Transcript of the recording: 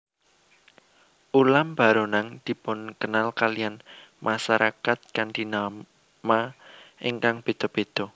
Ulam baronang dipunkenal kaliyan masarakat kanthi nama ingkang béda béda